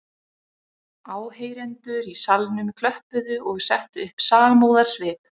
Áheyrendur í salnum klöppuðu og settu upp samúðarsvip